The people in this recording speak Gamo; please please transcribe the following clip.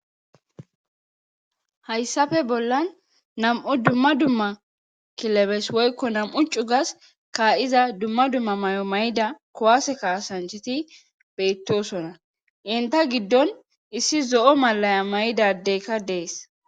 hayissafe bollan nam'u dumma dumma kilebes woykko nam'u cugas ka iza dumma dumma may'o may'ida kuwaase kaasanchiti bettosona inta giddon issi zo'o malaya may'idadeyikka dees